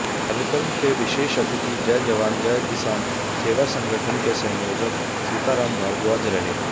कार्यक्रम के विशेष अतिथि जय जवान जय किसान सेवा संगठन के संयोजक सीताराम भारद्वाज रहे